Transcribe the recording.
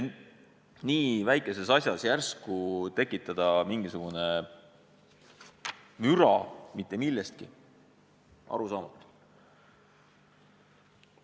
Nii väikeses asjas järsku tekitada palju kära mitte millestki – arusaamatu!